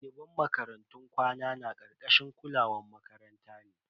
Daliban makarantun kwana na karkashin kulawan makaranta ne.